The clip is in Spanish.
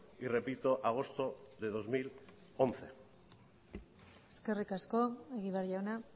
y repito agosto de dos mil once eskerrik asko egibar jauna